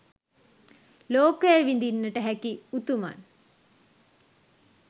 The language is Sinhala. ලෝකය විඳින්නට හැකි උතුමන්